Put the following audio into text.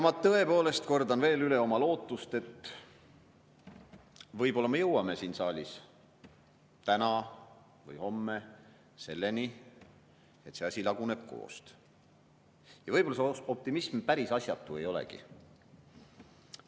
Ma tõepoolest kordan veel üle oma lootust, et võib-olla me jõuame siin saalis täna või homme selleni, et see asi laguneb koost. Ja võib-olla see optimism päris asjatu ei olegi.